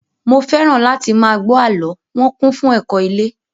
Mo fẹ́ràn láti máa gbọ́ àlọ́, wọn kún fún ẹ̀kọ́ ilé